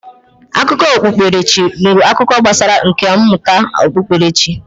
Akụkọ okpukperechi bụ akụkọ gbasara nka mmụta okpukperechi.